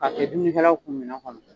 A kɛ dumunikɛlaw kun minɛn kɔnɔ.